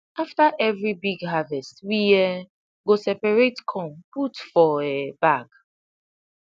after every big harvest we um go separate corn put for um bag